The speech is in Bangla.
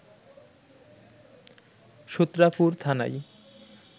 সূত্রাপুর থানায়